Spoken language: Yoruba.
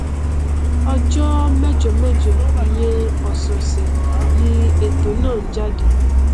ọjọ mẹjọmẹjọ ìyẹn ọsọọsẹ ni ètò náà n jáde